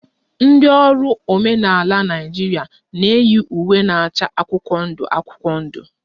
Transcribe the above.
Ndị ọrụ omenala Naịjirịa na-eyi uwe na-acha akwụkwọ ndụ akwụkwọ ndụ